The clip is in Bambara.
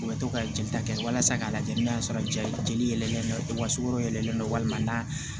U bɛ to ka jelita kɛ walasa k'a lajɛ n'a y'a sɔrɔ jeli jeli yɛlɛlen don wa sogo yɛlɛlen don walima n'a